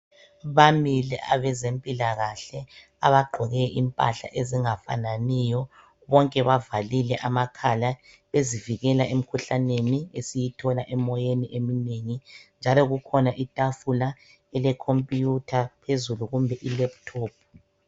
Bamile abezempilakahle abagqoke impahla ezingafananiyo bonke bavalile amakhala bezivikela emikhuhlaneni esiyithola emoyeni eminengi njalo kukhona itafula elecomputer phezulu kumbe ilaptop.